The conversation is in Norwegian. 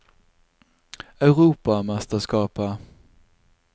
europamesterskapet